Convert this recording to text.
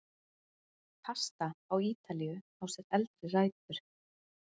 Pasta á Ítalíu á sér eldri rætur.